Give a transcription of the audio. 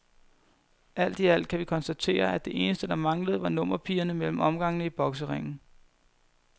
Alt i alt kan vi konstatere, at det eneste, der manglede, var nummerpigerne mellem omgangene i bokseringen.